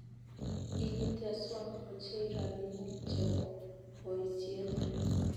Kigiteswon ochei robinik chebo boisiet